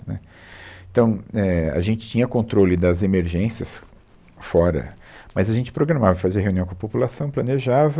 Né, Então, é, a gente tinha controle das emergências fora, mas a gente programava, fazia reunião com a população, planejava,